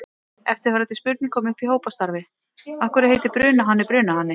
Eftirfarandi spurning kom upp í hópastarfi: Af hverju heitir brunahani brunahani?